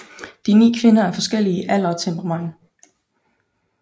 De ni kvinder er forskellige i alder og temperament